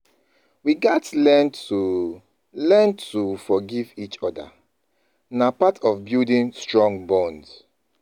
We gats learn to learn to forgive each other; na part of building strong bond